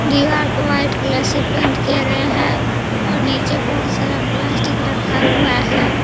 दीवार को white colour से पेंट किया गया है और नीचे बहुत सारा प्लास्टिक रखा हुआ है।